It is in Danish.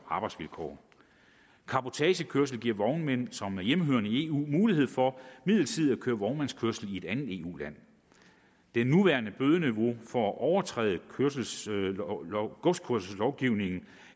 arbejdsvilkår cabotagekørsel giver vognmænd som er hjemmehørende i eu mulighed for midlertidigt at køre vognmandskørsel i andet eu land det nuværende bødeniveau for at overtræde godskørselslovgivningen